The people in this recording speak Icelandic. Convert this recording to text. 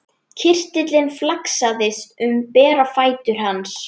Kirtillinn flaksaðist um bera fætur hans.